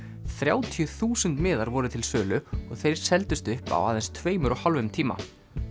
þrjátíu þúsund miðar voru til sölu og þeir seldust upp á aðeins tveimur og hálfum tíma